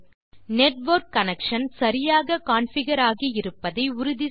முதலில் network connection சரியாக configure ஆகி இருப்பதை உறுதி செய்க